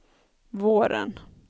våren